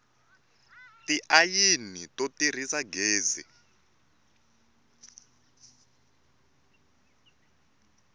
tiayini to tirhisa gezi